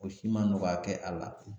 O si ma nɔgɔya kɛ a la